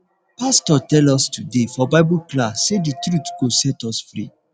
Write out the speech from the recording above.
pastor tell us us today for bible class say the truth go set us free